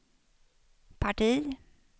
parti